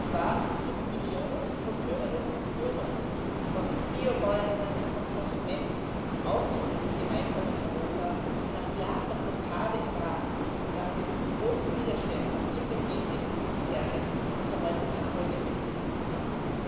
Es waren und sind Millionen von Bürgerinnen und Bürgern, von Biobäuerinnen, von Konsumenten, auch in diesem gemeinsamen Europa, die nach Jahren der Blockade im Rat und nach den großen Widerständen in den Gentechnikkonzernen diese heutigen Erfolge möglich gemacht haben.